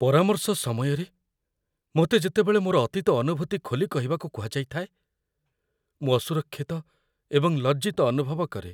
ପରାମର୍ଶ ସମୟରେ, ମୋତେ ଯେତେବେଳେ ମୋର ଅତୀତ ଅନୁଭୂତି ଖୋଲି କହିବାକୁ କୁହାଯାଇଥାଏ, ମୁଁ ଅସୁରକ୍ଷିତ ଏବଂ ଲଜ୍ଜିତ ଅନୁଭବ କରେ।